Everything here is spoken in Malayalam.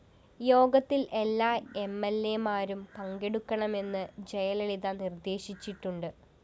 യോഗത്തില്‍ എല്ലാ എംഎല്‍എമാരും പങ്കെടുക്കണമെന്ന് ജയലളിത നിര്‍ദ്ദേശിച്ചിട്ടുണ്ട്